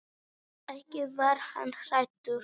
Ekki var hann hræddur.